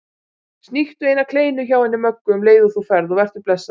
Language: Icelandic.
Sníktu eina kleinu hjá henni Möggu um leið og þú ferð og vertu blessaður